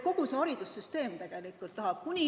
Kogu see haridussüsteem tegelikult tahab muutust.